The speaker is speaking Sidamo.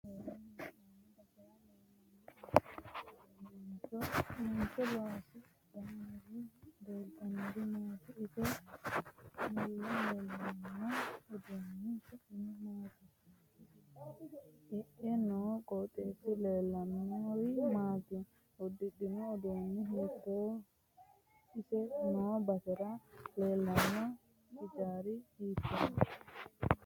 Mancho loosidhanni leeltanori maati ise mule leelanno uduuni su'mi maati iae noo qoxeesi leeliahanori maati uddidhino uddanno hiitoote ise noo basera leelanno hijaari hiitooho